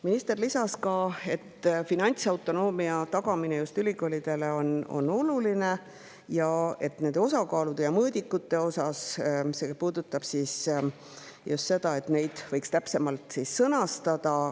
Minister lisas, et finantsautonoomia tagamine just ülikoolidele on oluline, ning puudutas neid osakaale ja mõõdikuid – neid võiks täpsemalt sõnastada.